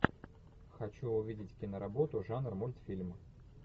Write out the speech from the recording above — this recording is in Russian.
хочу увидеть киноработу жанр мультфильм